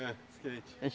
É, skate.